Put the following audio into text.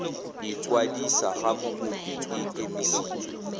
ikwadisa ga mokopi e emisitswe